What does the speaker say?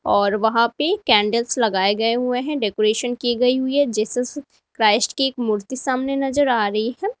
और वहां पे कैंडल्स लगाए गए हुए हैं डेकोरेशन की गई हुई है जीसस क्राइस्ट की एक मूर्ति सामने नजर आ रही है।